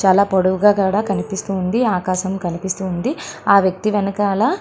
చాలా పొడవుగా కూడా కనిపిస్తుంది ఆకాశం కనిపిస్తుంది ఆహ్ వ్యక్తి వెనకాల